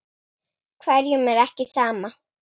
Hverjum er ekki sama.